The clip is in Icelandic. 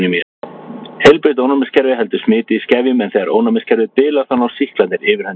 Heilbrigt ónæmiskerfi heldur smiti í skefjum en þegar ónæmiskerfið bilar þá ná sýklarnir yfirhöndinni.